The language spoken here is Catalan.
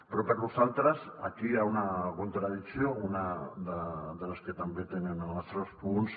però per nosaltres aquí hi ha una contradicció una de les que també tenen en altres punts